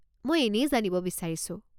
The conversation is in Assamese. মই এনেই জানিব বিচাৰিছোঁ।